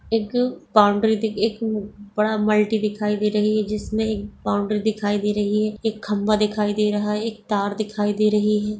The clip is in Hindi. एक बाउंड्री दिख एक बड़ा मल्टी दिखाई दे रही है जिसमें बाउंड्री दिखाई दे रही है एक खंभा दिखाई दे रहा है एक तार दिखाई दे रही है।